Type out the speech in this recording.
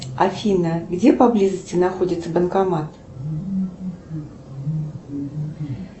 афина где поблизости находится банкомат